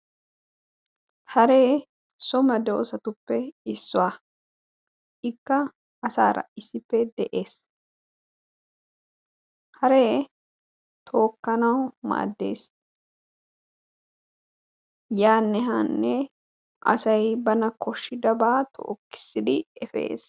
haree so meedosaatuppe iissuwaa. ikka asaara issippe de'ees. haree tookkanawu maaddees. yaanne haanne aasay baana kooshidabaa tookisiddi epees.